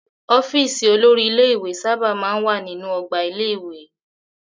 Ọ́fíísì olórí ilé-ìwé sábà máa ń wà nínú ọgbà ilé-ìwé.